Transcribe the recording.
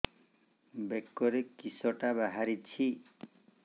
ବେକରେ କିଶଟା ବାହାରିଛି